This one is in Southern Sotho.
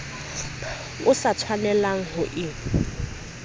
o sa tshwanelang ho e